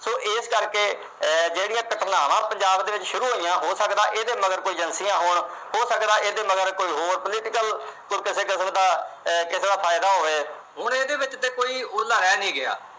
ਇਸ ਕਰਕੇ ਜਿਹੜੀਆਂ ਘਟਨਾਵਾਂ ਪੰਜਾਬ ਦੇ ਵਿੱਚ ਸ਼ੁਰੂ ਹੋਈਆਂ, ਹੋ ਸਕਦਾ ਇਹਦੇ ਮਗਰ ਕੋਈ agencies ਹੋਣ। ਹੋ ਸਕਦਾ ਇਸਦੇ ਮਗਰ ਕੋਈ ਹੋਰ political ਕਿਸੇ ਕਿਸਮ ਦਾ ਫਾਇਦਾ ਹੋਵੇ। ਹੁਣ ਇਹਦੇ ਵਿੱਚ ਤਾਂ ਕੋਈ ਓਹਲਾ ਰਹਿ ਨੀ ਗਿਆ।